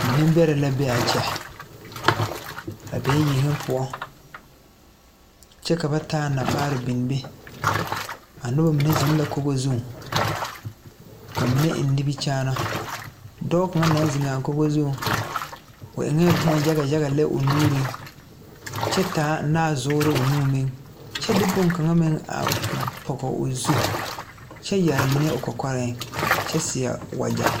Neŋ bɛrɛ la be a kyɛ ba bee yeŋe poɔ kyɛ ka ba taa namaar bin be a nobɔ mine zeŋ la kogo zuŋ ka mibe eŋ nimikyaanaa dɔɔ kaŋa naŋ zeŋaa kogo zuŋ o eŋɛɛ bomma yaga yaga lɛ o nuuriŋ kyɛ taa naazuure o nuŋ meŋ kyɛ de bonkaŋa meŋ a pɔge o zu kyɛ yɛre mine o kɔkɔreŋ kyɛ seɛ wagyɛ.